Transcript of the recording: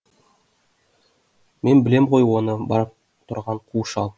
мен білем ғой оны барып тұрған қу шал